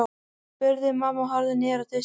spurði mamma og horfði niður á diskinn.